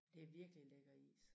Det virkelig en lækker is